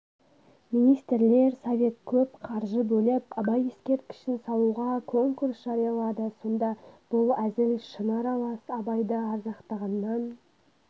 министрлер совет көп қаржы бөліп абай ескерткішін салуға конкурс жариялады сонда бұл әзіл-шыны аралас абайды ардақтағаннан